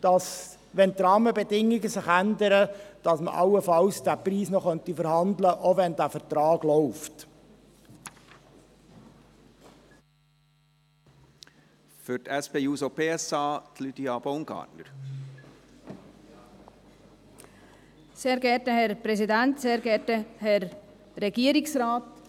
Das heisst, dass man diesen Preis allenfalls noch verhandeln könnte, sollten sich die Rahmenbedingungen ändern, auch wenn der Vertrag läuft.